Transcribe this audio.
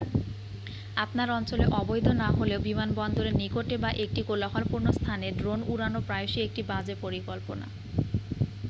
আপনার অঞ্চলে অবৈধ না হলেও বিমানবন্দরের নিকটে বা একটি কোলাহলপূর্ণ স্থানে ড্রোন উড়ানো প্রায়শই একটি বাজে পরিকল্পনা